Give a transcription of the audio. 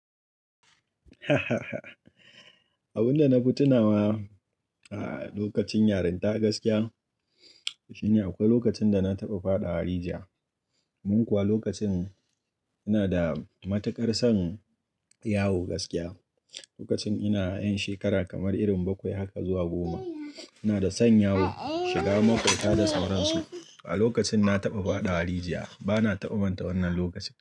Abunda na fi tunawa a lokacin yarinta gaskiya shine akwai lokacin da na taɓa faɗawa rijiya. Mun kuwa lokacin ina da matuƙar son yawo gaskiya, lokacin ina 'ƴan shekara kamar irin bakwai haka zuwa goma. Ina da son yawo, shiga makwabta da sauran su. A lokacin na taɓa faɗawa rijiya bana taɓa manta wannan lokacin.